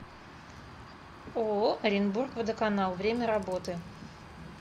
ооо оренбург водоканал время работы